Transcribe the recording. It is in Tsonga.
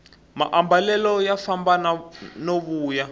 maambalelo ya famba ya vuya